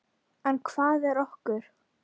En hvað er okur?